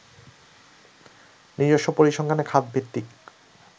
নিজস্ব পরিসংখ্যানে খাত ভিত্তিক